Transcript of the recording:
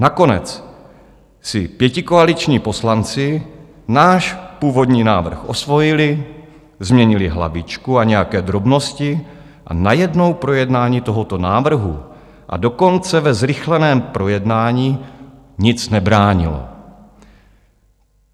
Nakonec si pětikoaliční poslanci náš původní návrh osvojili, změnili hlavičku a nějaké drobnosti a najednou projednání tohoto návrhu, a dokonce ve zrychleném projednání, nic nebránilo.